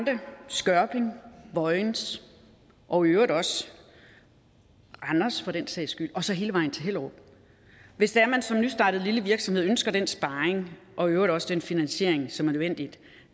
skørping og vojens og i øvrigt også randers for den sags skyld og så hele vejen til hellerup hvis det er man som nystartet lille virksomhed ønsker den sparring og i øvrigt også den finansiering som er nødvendig